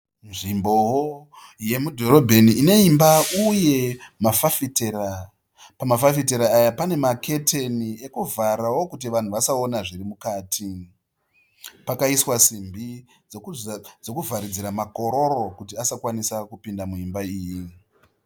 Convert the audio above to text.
Nzvimbowo yemudhorobheni ineimba uye mafafitera, pama fafitera panemaketeni ekuvharawo kuti vanhu vasaone zviri mukati, pakaiswa simbi dzekuvharidzira makororo asakwanise kupinda muimba iyi.